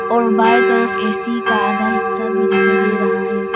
और बाएं तरफ ए_सी का आधा हिस्सा भी दिखाई दे रहा है।